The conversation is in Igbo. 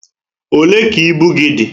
Olé ka ibu gị dị?